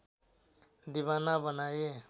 दिवाना बनाए